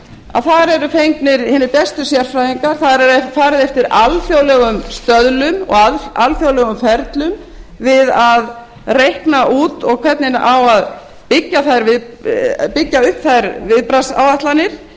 að þar eru fengnir hinir bestu sérfræðingar það er farið eftir alþjóðlegum stöðlum og alþjóðlegum ferlum við að reikna út hvernig á að byggja upp þær viðbragðsáætlanir